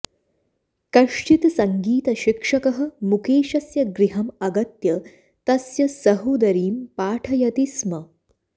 कश्चित् सङ्गीतशिक्षकः मुकेशस्य गृहम् अगत्य तस्य सहोदरीम् पाठयति स्म